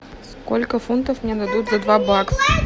сколько фунтов мне дадут за два бакса